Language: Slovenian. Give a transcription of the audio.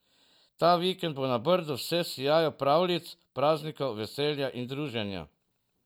Ta vikend bo na Brdu vse v sijaju pravljic, praznikov, veselja in druženja.